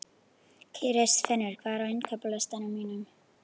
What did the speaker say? Kristfinnur, hvað er á innkaupalistanum mínum?